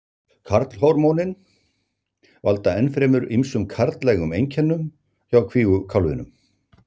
Karlhormónin valda ennfremur ýmsum karllægum einkennum hjá kvígukálfinum.